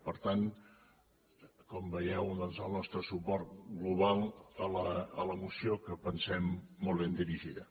per tant com veieu doncs el nostre suport global a la moció que pensem molt ben dirigida